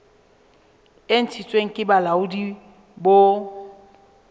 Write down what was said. e ntshitsweng ke bolaodi bo